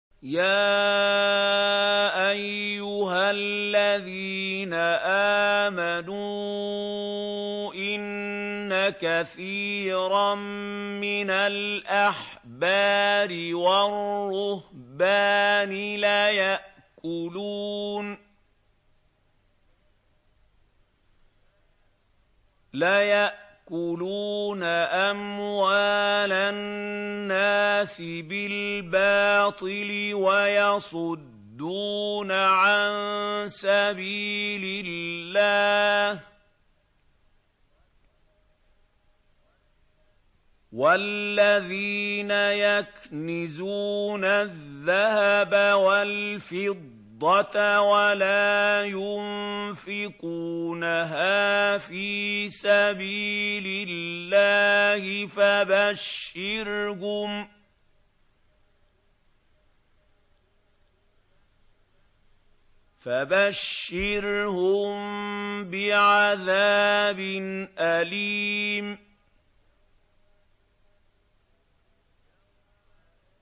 ۞ يَا أَيُّهَا الَّذِينَ آمَنُوا إِنَّ كَثِيرًا مِّنَ الْأَحْبَارِ وَالرُّهْبَانِ لَيَأْكُلُونَ أَمْوَالَ النَّاسِ بِالْبَاطِلِ وَيَصُدُّونَ عَن سَبِيلِ اللَّهِ ۗ وَالَّذِينَ يَكْنِزُونَ الذَّهَبَ وَالْفِضَّةَ وَلَا يُنفِقُونَهَا فِي سَبِيلِ اللَّهِ فَبَشِّرْهُم بِعَذَابٍ أَلِيمٍ